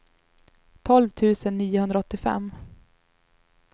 tolv tusen niohundraåttiofem